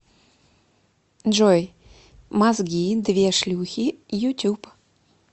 джой мозги две шлюхи ютуб